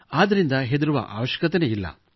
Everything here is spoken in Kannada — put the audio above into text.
ಆದ್ದರಿಂದ ಹೆದರುವ ಅವಶ್ಯಕತೆಯಿಲ್ಲ